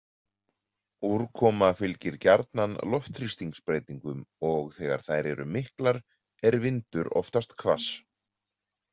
Úrkoma fylgir gjarnan loftþrýstibreytingum og þegar þær eru miklar er vindur oftast hvass.